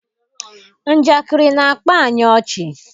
Njakịrị na-akpa anyị ọchị